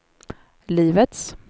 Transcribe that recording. livets